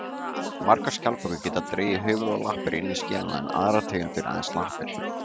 Margar skjaldbökur geta dregið höfuð og lappir inn í skelina en aðrar tegundir aðeins lappir.